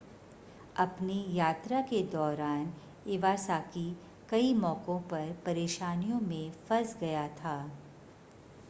अपनी यात्रा के दौरान इवासाकी कई मौकों पर परेशानियों में फंस गया था